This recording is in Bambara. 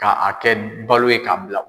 K'a kɛ balo ye k'a bila